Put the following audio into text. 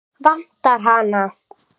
Vantar hana?